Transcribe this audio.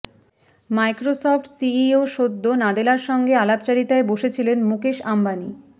Microsoft CEO সদ্য নাদেলার সঙ্গে আলাপচারিতায় বসেছিলেন মুকেশ আম্বানি